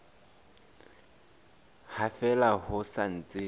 ha fela ho sa ntse